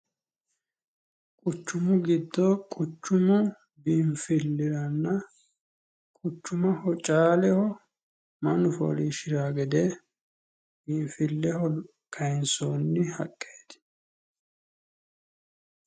Quchumu giddo quchumu biinfilliranna caaleho mannu foolishshirawo gede biinfilleho kayinsoonni haqqeeti.